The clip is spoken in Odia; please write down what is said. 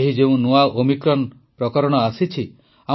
ଏହି ଯେଉଁ ନୂଆ ଓମିକ୍ରନ୍ ଭାରିଏଣ୍ଟ ଆସିଛି